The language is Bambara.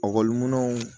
ekɔliminɛnw